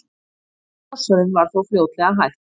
þess háttar krossferðum var þó fljótlega hætt